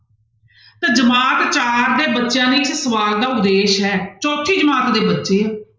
ਤੇ ਜਮਾਤ ਚਾਰ ਦੇ ਬੱਚਿਆਂ ਲਈ ਇਸ ਸਵਾਲ ਦਾ ਉਦੇਸ਼ ਹੈ ਚੌਥੀ ਜਮਾਤ ਦੇ ਬੱਚੇ ਆ,